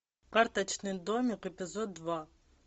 карточный домик эпизод два